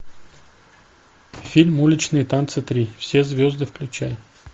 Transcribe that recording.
фильм уличные танцы три все звезды включай